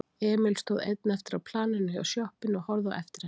Emil stóð einn eftir á planinu hjá sjoppunni og horfði á eftir henni.